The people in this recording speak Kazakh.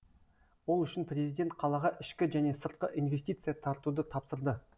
ол үшін президент қалаға ішкі және сыртқы инвестиция тартуды тапсырды